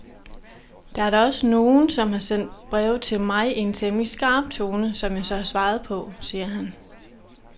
Der er da også nogen, som har sendt breve til mig i en temmelig skarp tone, som jeg så har svaret på, siger han.